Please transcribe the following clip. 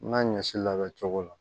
N ka ɲɔ si labɛn cogo la